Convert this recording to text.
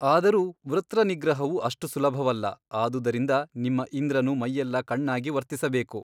ಆದರೂ ವೃತ್ರನಿಗ್ರಹವು ಅಷ್ಟು ಸುಲಭವಲ್ಲ ಆದುದರಿಂದ ನಿಮ್ಮ ಇಂದ್ರನು ಮೈಯೆಲ್ಲ ಕಣ್ಣಾಗಿ ವರ್ತಿಸಬೇಕು.